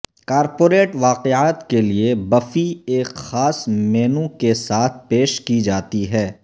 corporate واقعات کے لئے بفی ایک خاص مینو کے ساتھ پیش کی جاتی ہے